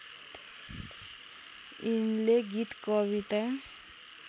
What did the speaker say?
यिनले गीत कविता